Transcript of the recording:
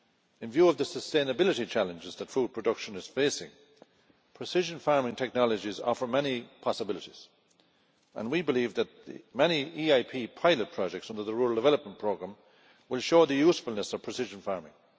In view of the sustainability challenges that food production is facing, precision farming technologies offer many possibilities and we believe that many EIP pilot projects under the Rural Development Programme will show the usefulness of precision farming.